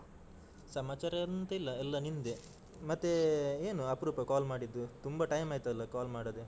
ಸಮಾಚಾರ ಎಂತ ಇಲ್ಲ ಎಲ್ಲ ನಿಂದೆ. ಮತ್ತೆ ಏನು ಅಪ್ರೂಪ call ಮಾಡಿದ್ದು? ತುಂಬಾ time ಆಯ್ತಲ್ಲ call ಮಾಡದೆ.